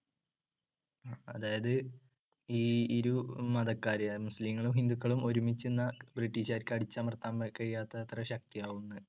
അതായത് ഈ ഇരു മതക്കാരും മുസ്ലിങ്ങളും ഹിന്ദുക്കളും ഒരുമിച്ചുനിന്നാൽ ബ്രിട്ടീഷ്കാർക്ക് അടിച്ചമർത്താൻ മ്~ കഴിയാത്തത്ര ശക്‌തിയാവും ന്ന്